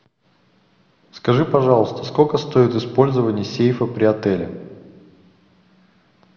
скажи пожалуйста сколько стоит использование сейфа при отеле